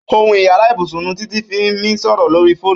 Óhún ìyàrá ibúsún ni Titi fi mi sọrọ lóri fónú